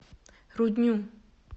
рудню